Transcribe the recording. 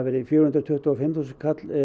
verði fjögur hundruð tuttugu og fimm þúsund